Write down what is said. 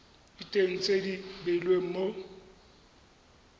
diteng tse di beilweng mo